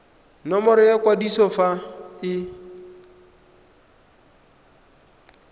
nomoro ya kwadiso fa e